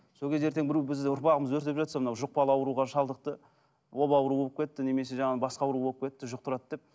сол кезде ертең біреу бізді ұрпағымыз өртеп жатса мынау жұқпалы ауруға шалдықты оба ауруы болып кетті немесе жаңа басқа ауру болып кетті жұқтырады деп